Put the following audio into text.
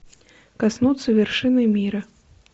коснуться вершины мира